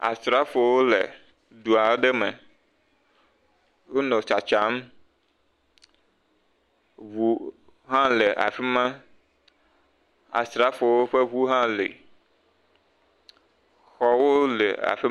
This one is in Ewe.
Asrafowo le du aɖe me, wonɔ tsatsam, ŋu hã le afi ma, asrafowo ƒe ŋu hã le. Xɔwo le af…